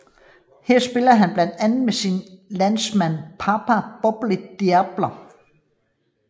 Her spillede han blandt andet med sin landsmand Papa Bouba Diop